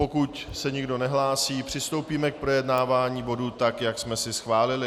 Pokud se nikdo nehlásí, přistoupíme k projednávání bodu tak, jak jsme si schválili.